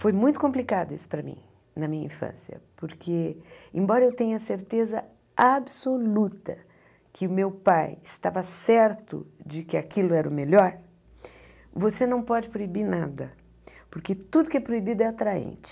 Foi muito complicado isso para mim, na minha infância, porque, embora eu tenha certeza absoluta que o meu pai estava certo de que aquilo era o melhor, você não pode proibir nada, porque tudo que é proibido é atraente.